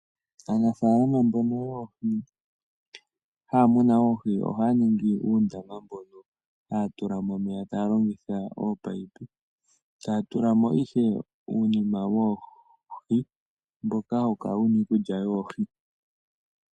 Aanafalama mbono yoohi , haya muna oohi ohaya ningi uundama mbono haya tula mo omeya taya longitha oopayipi yo taya tulamo uunima woohi mboka hawu kala wuna iikulya yoohi.